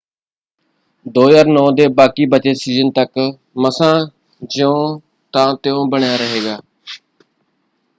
2009 ਦੇ ਬਾਕੀ ਬਚੇ ਸੀਜ਼ਨ ਤੱਕ ਮਸਾ ਜਿਉਂ ਤਾਂ ਤਿਉਂ ਬਣਿਆ ਰਹੇਗਾ।